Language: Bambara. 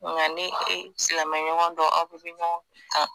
Nga ni e silamɛ ɲɔgɔn dɔ aw bɛɛ be ɲɔgɔn kan